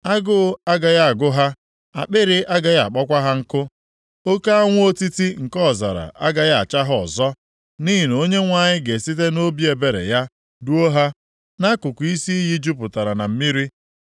Agụ agaghị agụ ha, akpịrị agaghị akpọkwa ha nkụ. Oke anwụ otiti nke ọzara agaghị acha ha ọzọ. Nʼihi na Onyenwe anyị ga-esite nʼobi ebere ya duo ha nʼakụkụ isi iyi jupụtara na mmiri.